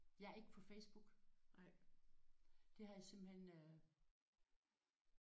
Jeg er ikke på Facebook. Det har jeg simpelthen øh